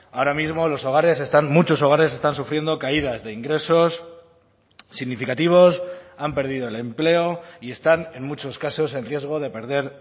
ahora mismo los hogares están muchos hogares están sufriendo caídas de ingresos significativos han perdido el empleo y están en muchos casos en riesgo de perder